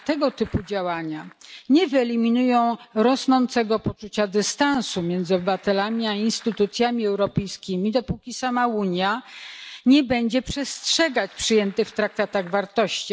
Jednak tego typu działania nie wyeliminują rosnącego poczucia dystansu między obywatelami a instytucjami europejskimi, dopóki sama Unia nie będzie przestrzegać przyjętych w traktatach wartości.